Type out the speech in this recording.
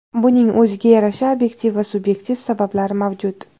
Buning o‘ziga yarasha obyektiv va subyektiv sabablari mavjud.